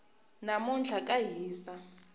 namuntlha ka hisa